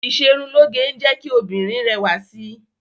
Ìṣerunlóge ń jẹ́ kí obìnrin rẹwà sí.